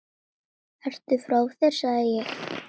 Ertu frá þér sagði ég.